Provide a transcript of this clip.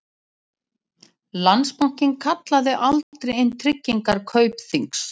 Landsbankinn kallaði aldrei inn tryggingar Kaupþings